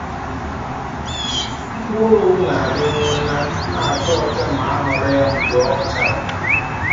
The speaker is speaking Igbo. Mkpụrụ owu na-adị nwụnaa, na a cha ọcha ma a ghọrọ ya mgbe ọ chara.